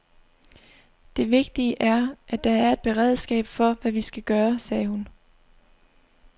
Det vigtige er, at der er et beredskab for, hvad vi skal gøre, sagde hun.